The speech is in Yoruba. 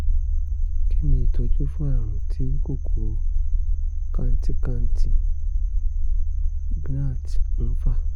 kí ni ìtọ́jú fún àrùn tí kòkòrò kantikanti (gnat) ń fà?